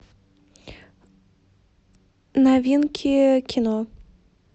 новинки кино